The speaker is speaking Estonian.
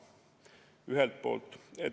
Seda ühelt poolt.